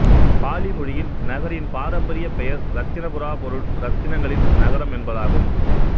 poly மொழியில் நகரின் பாரம்பரிய பெயர் இரத்தினபுரா பொருள்இரத்தினங்களின் நகரம் என்பதாகும்